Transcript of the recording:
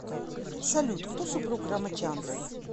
салют кто супруг рамачандра